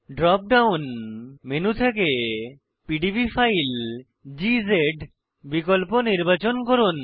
drop down menu থেকে PDB file বিকল্প নির্বাচন করুন